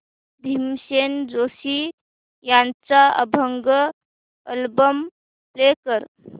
भीमसेन जोशी यांचा अभंग album play कर